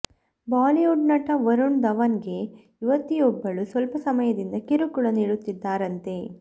Bollywood ನಟ ವರುಣ್ ಧವನ್ಗೆ ಯುವತಿಯೊಬ್ಬಳು ಸ್ವಲ್ಪ ಸಮಯದಿಂದ ಕಿರುಕುಳ ನೀಡುತ್ತಿದ್ದಾರಂತೆ